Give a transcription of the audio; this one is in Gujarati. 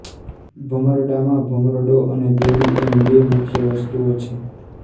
ભમરડામાં ભમરડો અને દોરી એમ બે મુખ્ય વસ્તુઓ છે